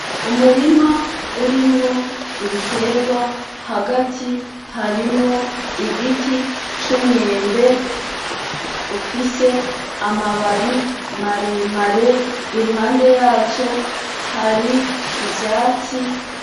Umurima urimwo ibiterwa, hagati harimwo igiti c'umwembe ufise amababi maremare, iruhande yaco hari ivyatsi